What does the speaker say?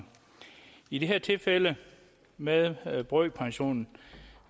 i det her tilfælde med brøkpension